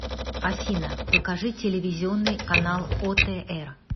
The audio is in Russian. афина покажи телевизионный канал отр